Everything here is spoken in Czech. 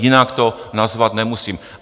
Jinak to nazvat nemusím.